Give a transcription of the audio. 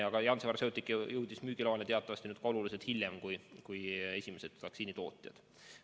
Aga Janssen Pharmaceutica jõudis müügiloani teatavasti oluliselt hiljem kui esimesed vaktsiinitootjad.